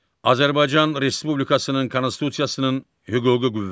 Azərbaycan Respublikasının Konstitusiyasının hüquqi qüvvəsi.